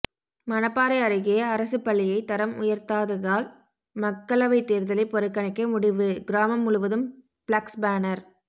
மணப்பாறை அருகே அரசு பள்ளியை தரம் உயர்த்தாததால் மக்களவை தேர்தலை புறக்கணிக்க முடிவு கிராமம் முழுவதும் ப்ளக்ஸ் பேனர்